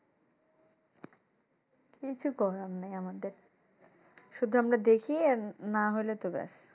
কিছু করার নেই আমাদের। শুধু আমরা দেখি না হলে তো ব্যাস।